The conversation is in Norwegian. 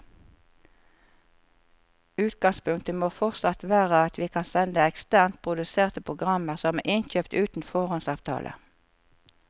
Utgangspunktet må fortsatt være at vi kan sende eksternt produserte programmer som er innkjøpt uten foråndsavtale.